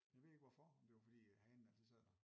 Jeg ved ikke hvorfor om det var fordi hanen altid sad der